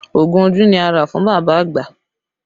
Ogun ojú ni a rà fún bàbá àgbà